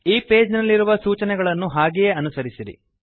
ಈ ಪೇಜ್ ನಲ್ಲಿರುವ ಸೂಚನೆಗಳನ್ನು ಹಾಗೆಯೇ ಅನುಸರಿಸಿರಿ